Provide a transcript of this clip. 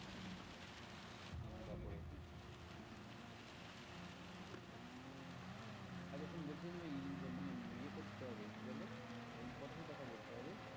আচ্ছা শোন বলছিলাম যে মানে ইয়ে করতে হবে কি বলে important কথা বলতে হবে।